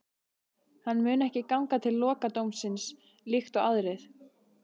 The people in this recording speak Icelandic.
Hann mun ekki ganga til lokadómsins líkt og aðrir.